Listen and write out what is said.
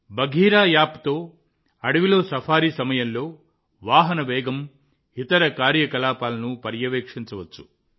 బఘీరా యాప్తో అడవిలో సఫారీ సమయంలో వాహనం వేగం ఇతర కార్యకలాపాలను పర్యవేక్షించవచ్చు